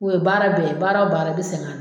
O ye baara bɛɛ ye baara o baara i bɛ sɛgɛ